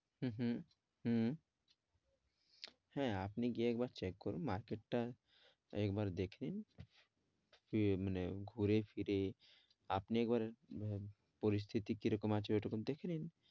হম হম হ্যাঁ আপনি গিয়ে একবার check করুন market টা একবার দেখেন কি মানে ঘুরেফিরে আপনি একবার আহ পরিস্থিতি কি রকম আছে ওই টুকু দেখে নিন,